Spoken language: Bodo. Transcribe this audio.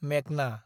मेगना